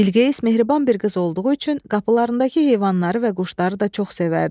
Bilqeyis mehriban bir qız olduğu üçün qapılarındakı heyvanları və quşları da çox sevərdi.